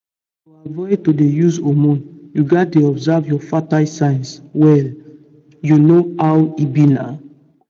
to avoid to dey use hormone you gats dey observe your fertile signs well you know how e be na.